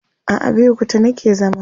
a Abeokuta nake zama